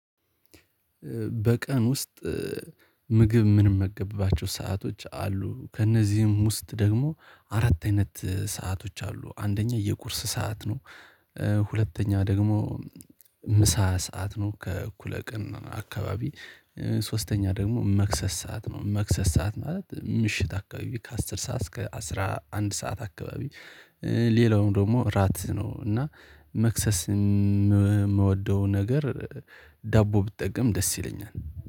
በቀን ውስጥ ምግብ ምንመገብባቸው ሰአቶች አሉ ከእነዚህም ውስጥ ደግሞ አራት አይነት ሰአቶች አሉ አንደኛ የቁርስ ሰዓት ነው። ሁለተኛ ደግሞ ምሳ ሰዓት ነው። ከእኩለ ቀን አካባቢ ሶስተኛ ደግሞ መክሰስ ሰዓት ነው መክሰስ ሰዓት ማለት ምሽት አካባቢ ከአስር ሰዓት እስከ አስረአንድ ሰዓት አካባቢ። ሌላውም ደግሞ እራት ነው። እና መክሰስ የምወደው ነገር ዳቦ ብትጠቀም ደስ ይለኛል